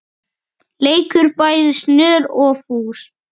leikur bæði snör og fús.